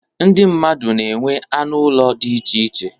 Ndị mmadụ na-enwe anụ ụlọ dị iche iche.